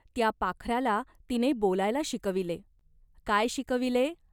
त्या पाखराला तिने बोलायला शिकविले. काय शिकविले ?